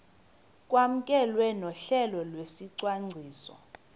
kwamkelwe nohlelo lwesicwangciso